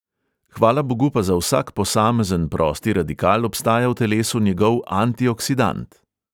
Hvala bogu pa za vsak posamezen prosti radikal obstaja v telesu njegov antioksidant.